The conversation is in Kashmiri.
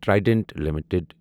ٹریڈنٹ لِمِٹٕڈ